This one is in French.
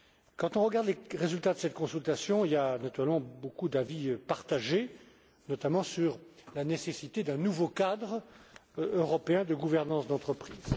Quand on regarde les résultats de cette consultation, il y a naturellement beaucoup d'avis partagés, notamment sur la nécessité d'un nouveau cadre européen de gouvernance d'entreprise.